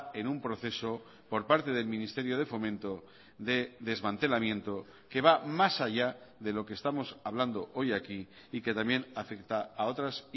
en un proceso por parte del ministerio de fomento de desmantelamiento que va más allá de lo que estamos hablando hoy aquí y que también afecta a otras